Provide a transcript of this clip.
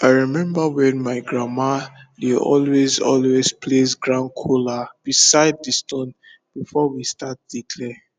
i remember when my grandma dey always always place ground kola beside the stone before we start dey clear